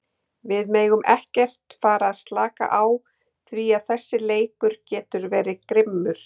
Við megum ekkert fara að slaka á því að þessi leikur getur verið grimmur.